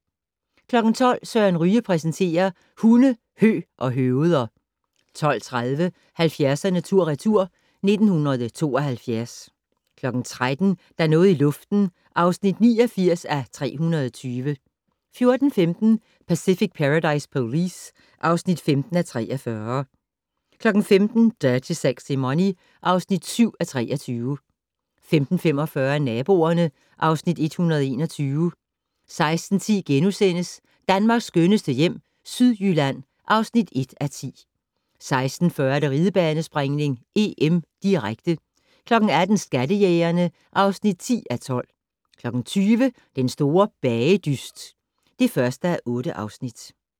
12:00: Søren Ryge præsenterer: Hunde, hø og høveder 12:30: 70'erne tur/retur: 1972 13:00: Der er noget i luften (89:320) 14:15: Pacific Paradise Police (15:43) 15:00: Dirty Sexy Money (7:23) 15:45: Naboerne (Afs. 121) 16:10: Danmarks skønneste hjem - Sydjylland (1:10)* 16:40: Ridebanespringning: EM, direkte 18:00: Skattejægerne (10:12) 20:00: Den store bagedyst (1:8)